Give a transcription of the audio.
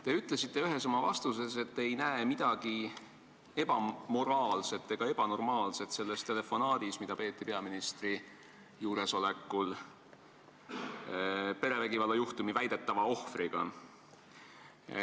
Te ütlesite ühes oma vastuses, et te ei näe midagi ebamoraalset ega ebanormaalset selles telefonaadis, mida peeti peaministri juuresolekul perevägivalla väidetava ohvriga.